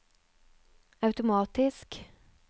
automatisk